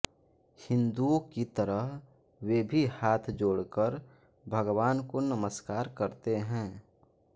हिंदुओं की तरह वे भी हाथ जोड़कर भगवान् को नमस्कार करते हैं